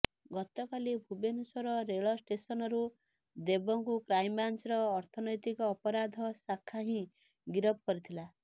ଗତକାଲି ଭୁବନେଶ୍ୱର ରେଳ ଷ୍ଟେସନରୁ ଦେବଙ୍କୁ କ୍ରାଇମ ବ୍ରାଞ୍ଚର ଅର୍ଥନୈତିକ ଅପରାଧ ଶାଖା ହିଁ ଗିରଫ କରିଥିଲା